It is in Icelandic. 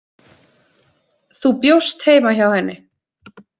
Þú bjóst heima hjá henni.